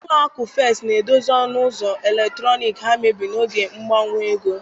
Ụlọ akụ First na-edozi ọnụ ụzọ eletrọnịkị ha mebiri n'oge mgbanwe ego